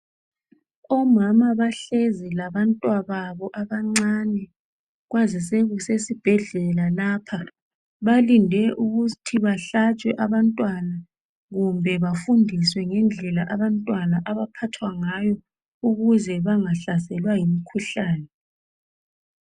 Omama bahlezi labantwababo abancane. Kwazise kusesibhedlela lapha. Balinde ukuthi bahlatshwe abantwana kumbe bafundiswe ngendlela abantwana abaphathwa ngayo ukuze bangahlaselwa yimikhuhlane.